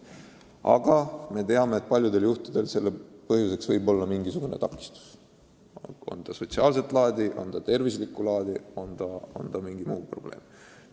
Aga me teame, et paljudel juhtudel on põhjuseks mingisugune takistus, on see siis sotsiaalset laadi või tervislikku laadi või on mingi muu probleem.